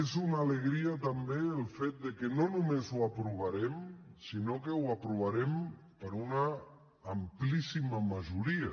és una alegria també el fet de que no només ho aprovarem sinó que ho aprovarem per una amplíssima majoria